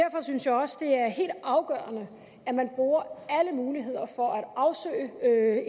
er helt afgørende at man bruger alle muligheder for at